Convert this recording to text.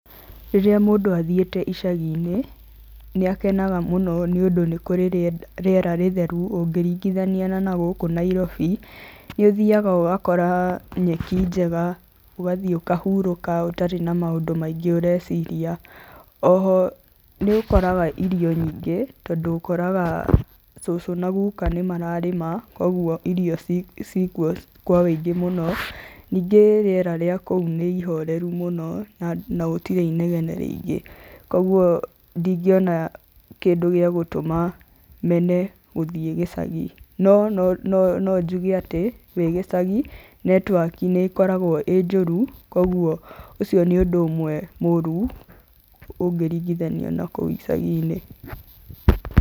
Rĩrĩa mũndũ athiĩte icagi-inĩ nĩ akenaga mũno nĩũndũ nĩ kũrĩ rĩera rĩtheru ũkĩringithania na nagũkũ Nairobi. Nĩ ũthiaga ũgakora nyeki njega, ũgathiĩ ũkahurũka ũtarĩ na maũndũ maingĩ ũreciria. O ho nĩ ũkoraga irio nyingĩ, tondũ ũkoraga cucu na guka nĩ mararĩma, koguo irio ciikuo kwa ũingĩ. Ningĩ rĩera rĩa kũu nĩ ihoreru mũno na gũtirĩ inegene rĩingĩ. Koguo ndingĩona kĩndũ gĩa gũtũma mene gũthiĩ gĩcagi. No no njuge atĩ wĩ gĩcagi netiwaki nĩ ĩkoragwo ĩĩ njũru, koguo ũcio nĩ ũndũ ũmwe mũru ũngĩringithanio na kũu icagi-inĩ.